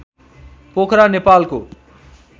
पोखरा नेपालको